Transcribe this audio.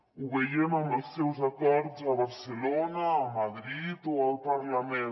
ho veiem amb els seus acords a barcelona a madrid o al parlament